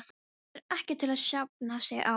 Þetta er ekkert til að jafna sig á.